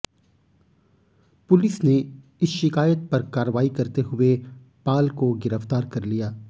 police ने इस शिकायत पर कार्रवाई करते हुए पाल को गिरफ्तार कर लिया